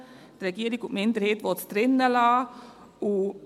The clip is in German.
Die Regierung und die Minderheit wollen es drin lassen.